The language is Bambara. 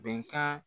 Bɛnkan